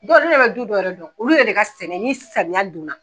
Dɔw ne yɛrɛ bɛ duw dɔw yɛrɛ dɔn olu yɛrɛ de ka sɛnɛ ni samiya don na